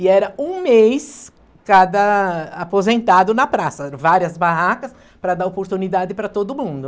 E era um mês cada aposentado na praça, várias barracas para dar oportunidade para todo mundo.